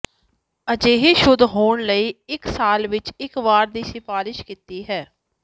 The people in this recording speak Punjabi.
ਅਜਿਹੇ ਸ਼ੁੱਧ ਹੋਣ ਲਈ ਇੱਕ ਸਾਲ ਵਿੱਚ ਇੱਕ ਵਾਰ ਦੀ ਸਿਫਾਰਸ਼ ਕੀਤੀ ਹੈ